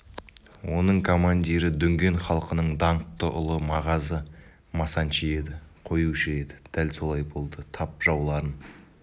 оның командирі дүнген халқының даңқты ұлы мағазы масанчи еді қоюшы еді дәл солай болды тап жауларын